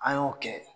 An y'o kɛ